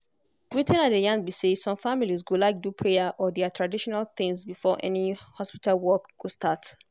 wetin i dey yarn be say some families go like do prayer or their traditional things before any hospital work go start.